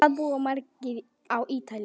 Hvað búa margir á Ítalíu?